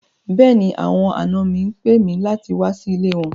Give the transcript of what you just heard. Bẹ́ẹ̀ni, àwọn àná mi ń pè mi láti wà sí ilẹ̀ wọn